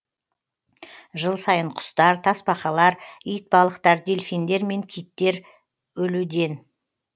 жыл сайын құстар тасбақалар итбалықтар дельфиндер мен киттер өлуден